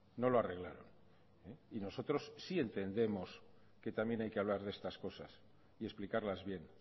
no lo arreglaron y nosotros sí entendemos que también hay que hablar de estas cosas y explicarlas bien